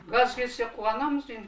газ келсе қуанамыз енді